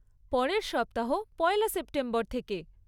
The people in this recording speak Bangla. পরের সপ্তাহ, পয়লা সেপ্টেম্বর থেকে।